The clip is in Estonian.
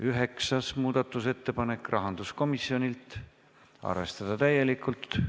Üheksas muudatusettepanek, rahanduskomisjonilt, arvestada täielikult.